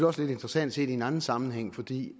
også lidt interessant set i en anden sammenhæng fordi